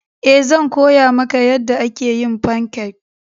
Ee, zan koya maka yadda ake yin fancakes.